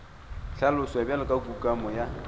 hlaloswa bjalo ka kukamo ya